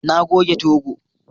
Na goge 2go